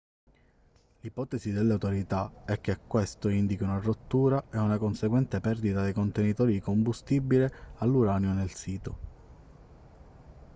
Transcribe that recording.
l'ipotesi delle autorità è che questo indichi una rottura e una conseguente perdita dei contenitori di combustibile all'uranio nel sito